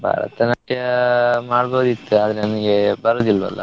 ಭರತನಾಟ್ಯ ಮಾಡ್ಬೋದಿತ್ತು ಆದ್ರೆ ನನ್ಗೆ ಬರುದಿಲ್ವಲ್ಲಾ.